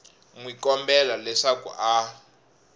n wi kombela leswaku a